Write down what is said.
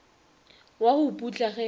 wa go putla ge a